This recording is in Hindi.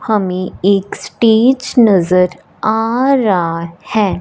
हमें एक स्टेज नजर आ रहा है।